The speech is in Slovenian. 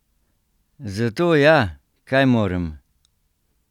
Zato ja, kaj morem?